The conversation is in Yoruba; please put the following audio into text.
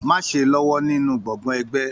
Má ṣe lọwọ nínú gbọ́ngbọ̀n ẹgbẹ!